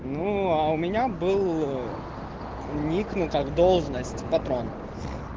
ну а у меня был ник ну как должность патрон